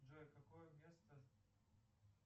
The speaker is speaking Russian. джой какое место